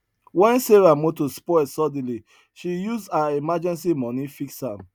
when sarah motor spoil suddenly she use her emergency money fix am